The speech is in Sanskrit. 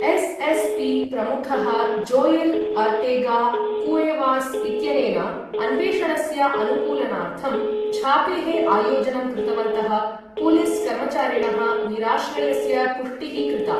एसएसपी प्रमुखः जोएल ओर्टेगा कुएवास् इत्यनेन अन्वेषणस्य अनुकूलनार्थं छापेः आयोजनं कृतवन्तः पुलिस कर्मचारिणः निराश्रयस्य पुष्टिः कृता ।